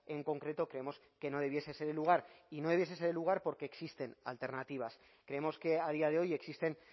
en concreto creemos que no debiese ser el lugar y no debiese ser el lugar porque existen alternativas creemos que a día de hoy existen